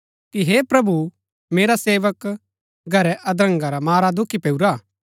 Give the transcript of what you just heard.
कि हे प्रभु मेरा सेवक घरै अधरंगा रा मारा दुखी पैऊरा